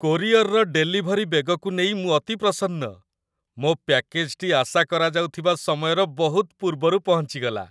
କୋରିଅରର delivery ବେଗକୁ ନେଇ ମୁଁ ଅତି ପ୍ରସନ୍ନ। ମୋ ପ୍ୟାକେଜଟି ଆଶାକରାଯାଉଥିବା ସମୟର ବହୁତ ପୂର୍ବରୁ ପହଞ୍ଚିଗଲା!